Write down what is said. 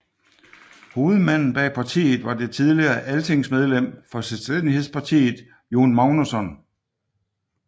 Hovedmanden bag partiet var det tidligere altingsmedlem for Selvstændighedspartiet Jón Magnússon